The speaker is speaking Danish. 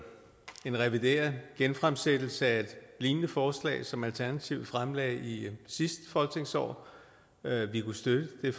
en revideret genfremsættelse af et lignende forslag som alternativet fremsatte i sidste folketingsår vi kunne støtte det